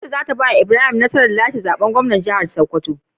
Kuto zata bawa Ibrahim nasarar lashe zaben gwamnan jahar sokoto